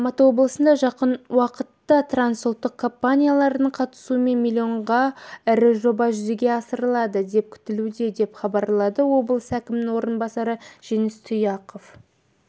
алматы облысында жақын уақытта трансұлттық компаниялардың қатысуымен миллионға ірі жоба жүзеге асырылады деп күтілуде деп хабарлады облыс әкімінің орынбасары жеңіс тұяқов